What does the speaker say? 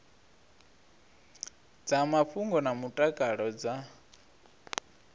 dza mafhungo na mutakalo dza